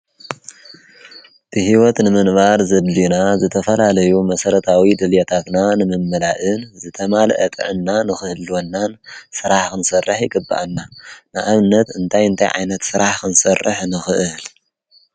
ብሕይወት ንምንባር ዘድልና ዘተፈላለዩ መሠረታዊ ድልየታትና ንምምላእን ዝተማልአ ጥዕና ንኽህልወናን ስራሕ ኽንሠርሕ ይግብአና። ንኣብነት እንታይ እንተይ ዓይነት ስራሕ ኽንሠርሕ ንኽእህል?